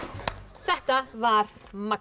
þetta var magnað